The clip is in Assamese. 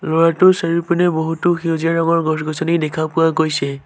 ল'ৰাটোৰ চাৰিওপিনে বহুতো সেউজীয়া ৰঙৰ গছ-গছনি দেখা পোৱা গৈছে।